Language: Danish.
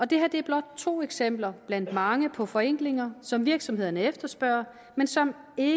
det her er blot to eksempler blandt mange på forenklinger som virksomhederne efterspørger men som ikke